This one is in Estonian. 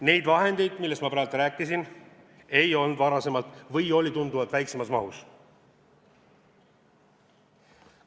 Neid vahendeid, millest ma praegu rääkisin, varasemalt ei olnud või oli tunduvalt väiksemas mahus.